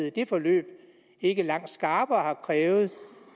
i det forløb ikke langt skarpere har krævet